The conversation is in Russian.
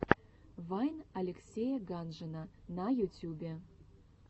вайн алексея ганжина на ютьюбе